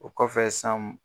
O kɔfɛ san